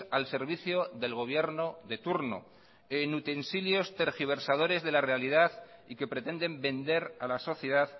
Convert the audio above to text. al servicio del gobierno de turno en utensilios tergiversadores de la realidad y que pretenden vender a la sociedad